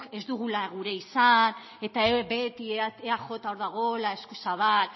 ez dugula gura izan eta beti eaj hor dagoela eskuzabal